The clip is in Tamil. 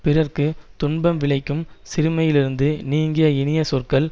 பிறர்க்கு துன்பம் விளைக்கும் சிறுமையிலிருந்து நீங்கிய இனிய சொற்கள்